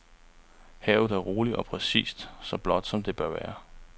Havet er roligt og præcis så blåt som det bør være.